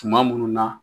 Tuma munnu na